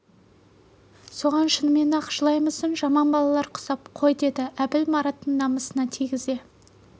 соған шынымен-ақ жылаймысың жаман балалар құсап қой деді әбіл мараттың намысына тигізе